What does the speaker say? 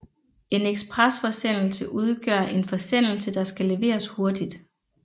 En ekspresforsendelse udgør en forsendelse der skal leveres hurtigt